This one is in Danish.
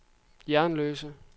Jernløse